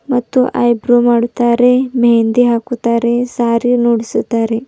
ಮತ್ತು ಐಬ್ರೋ ಮಾಡುತ್ತಾರೆ ಮೆಹಂದಿ ಹಾಕುತ್ತಾರೆ ಸ್ಯಾರಿ ಅನ್ನೂ ಉಡಿಸುತಾರೆ.